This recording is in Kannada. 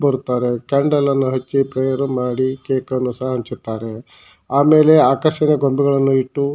ಬರುತ್ತಾರೆ ಕ್ಯಾಂಡಲ್ ಅನ್ನು ಹಚ್ಚಿ ಪ್ರೇಯರ್ ಮಾಡಿ ಕೇಕು ಅನ್ನು ಸಹ ಹಂಚುತ್ತಾರೆ ಆಮೇಲೆ ಆಕರ್ಷಣೆ ಗೊಂಬೆಗಳನ್ನ ಇಟ್ಟು--